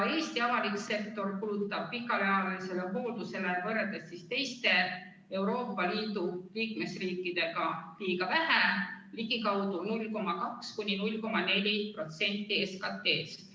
Eesti avalik sektor kulutab pikaajalisele hooldusele võrreldes teiste Euroopa Liidu liikmesriikidega liiga vähe, ligikaudu 0,2–0,4% SKT-st.